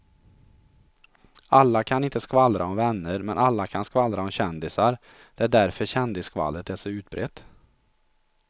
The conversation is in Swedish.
Alla kan inte skvallra om vänner men alla kan skvallra om kändisar, det är därför kändisskvallret är så utbrett.